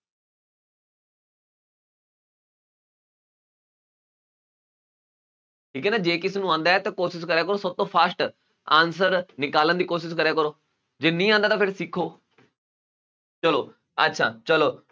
ਠੀਕ ਹੈ ਨਾ ਜੇ ਕਿਸੇ ਨੂੰ ਆਉਂਦਾ ਹੈ ਤਾਂ ਕੋਸ਼ਿਸ਼ ਕਰਿਆ ਕਰੋ ਸਭ ਤੋਂ fast answer ਨਿਕਾਲਣ ਦੀ ਕੋਸ਼ਿਸ਼ ਕਰਿਆ ਕਰੋ ਜੇ ਨਹੀਂ ਆਉਂਦਾ ਤਾਂ ਫਿਰ ਸਿੱਖੋ ਚਲੋ ਅੱਛਾ ਚਲੋ